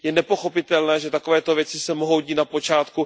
Je nepochopitelné, že takovéto věci se mohou dít na počátku